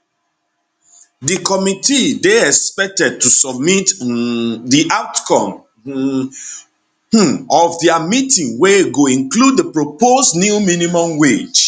di committee dey expected to submit um di outcome um of dia meeting wey go include di proposed new minimum wage